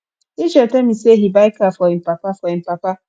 israel tell me say he buy car for im papa for im papa